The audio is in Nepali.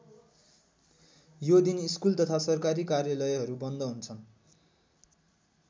यो दिन स्कुल तथा सरकारी कार्यालयहरू बन्द हुन्छन्।